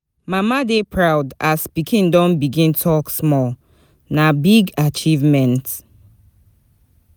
Mama dey proud as pikin don begin to talk small, na big achievement.